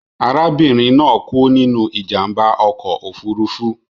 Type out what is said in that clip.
Arabinrin naa ku ninu ijamba ọkọ ofurufu